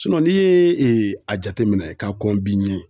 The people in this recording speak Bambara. n'i ye a jateminɛ k'a kɔn i ɲɛ